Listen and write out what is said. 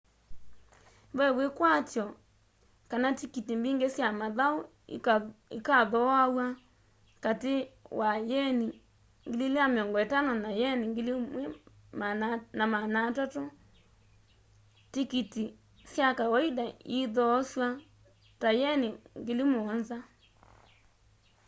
ve wikwatyo kana tikiti mbingi sya mathau ikathooaw'a kati wa yeni 2,500 na yeni 130,000 tikiti sya kawaida iithoasw'a ta yeni 7,000